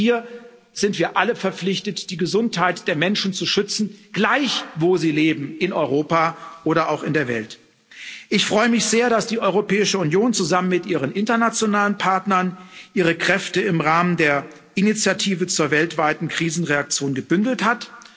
Auch hier sind wir alle verpflichtet, die Gesundheit der Menschen zu schützen, gleich, wo sie leben, in Europa oder auch in der Welt. Ich freue mich sehr, dass die Europäische Union zusammen mit ihren internationalen Partnern ihre Kräfte im Rahmen der Initiative zur weltweiten Krisenreaktion gebündelt hat.